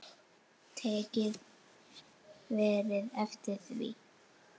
Tekið hefði verið eftir því.